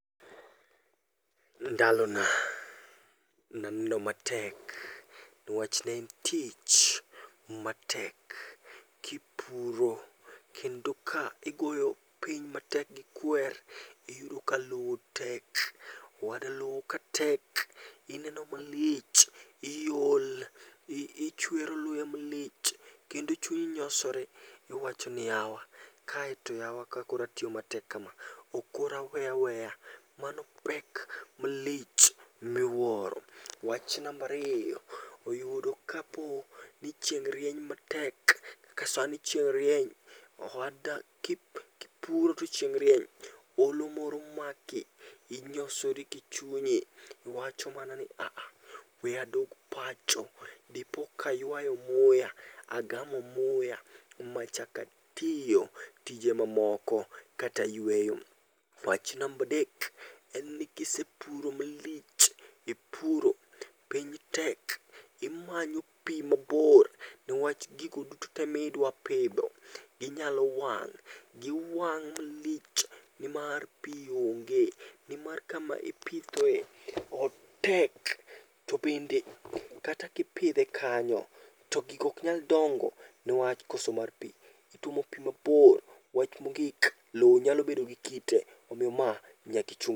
Ndalona naneno matek newach ne en tich matek kipuro kendo ka igoyo piny matek gi kwer, iyudo ka lo tek. Owada lowo ka tek, ineno malich, iol, ichwero luya malich, kendo chunyi nyosore. Iwacho ni yawa, kae to yawa ka koro atiyo matek kama, ok koro aweya weya. Mano pek malich miwuoro. Wach nambariyo, oyudo kapo ni chieng' rieny matek, kaka sani chieng' rieny. Owada kipuro to chieng' rieny, olo moro maki, inyosori kichunyi. Iwacho mana ni aaha, we adog pacho, dipoka aywayo muya, agamo muya, machakatiyo tije mamoko katayweyo. Wach nambadek, en ni kisepuro malich, ipuro, piny tek, imanyo pi mabor. Niwach gigo duto te midwapidho, ginyalo wang', giwang' malich nimar pi onge. Nimar kama ipithoe, otek. To be kata kipidhe kanyo, to gigo ok nyal dongo niwach koso mar pi, itwomo pi mabor. Wach mogik, lo nyalo bedo gi kite. Omiyo ma, nyakichun.